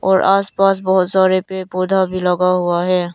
और आस पास बहुत सारे पेड़ पौधा भी लगा हुआ है।